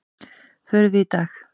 Förum við í dag?